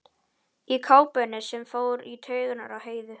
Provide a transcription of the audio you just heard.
Í kápunni sem fór svo í taugarnar á Heiðu.